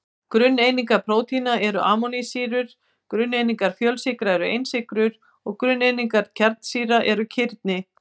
Grunneiningar prótína eru amínósýrur, grunneiningar fjölsykra eru einsykrur og grunneiningar kjarnasýra eru kirni.